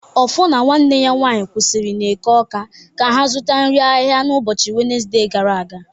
Offor na nwanne ya nwanyị kwụsịrị n'Eke Awka ka ha zụta nri ahịhịa n'ụbọchị Wenezde gara aga